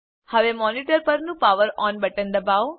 હવે મોનિટર પરનું power on button દબાવો